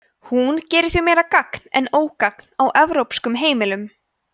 hún gerir því meira gagn en ógagn á evrópskum heimilum